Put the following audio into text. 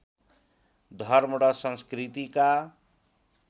धर्म र संस्कृतिका